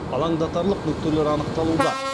алаңдатарлық нүктелер анықталуда